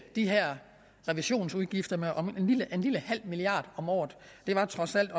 de her revisionsudgifter med en lille halv milliard om året det var trods alt